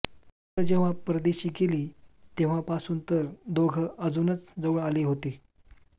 मुलं जेव्हा परदेशी गेली तेव्हापासून तर दोघं अजूनच जवळ आली होती